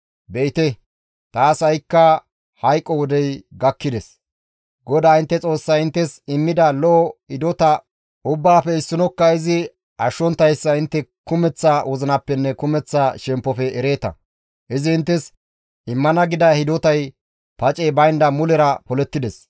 «Be7ite taas ha7i hayqo wodey gakkides; GODAA intte Xoossay inttes immida lo7o hidota ubbaafe issinokka izi ashshonttayssa intte kumeththa wozinappenne kumeththa shemppofe ereeta; izi inttes immana gida hidotay pacey baynda mulera polettides.